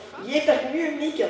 ég drekk mjög mikið